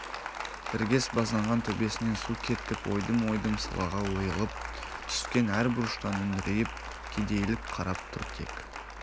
іргес базданған төбесінен су кеткп ойдым-ойдым сылағы ойылып түскен әр бұрыштан үңірейіп кедейлік қарап тұр тек